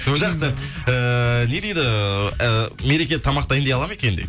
жақсы ыыы не дейді ыыы ы мереке тамақ дайындай алады ма екен дейді